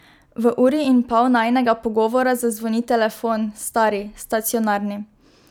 V uri in pol najinega pogovora zazvoni telefon, stari, stacionarni.